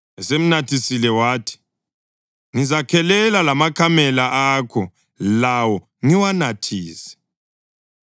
Esemnathisile wathi, “Ngizakhelela lamakamela akho lawo ngiwanathise.”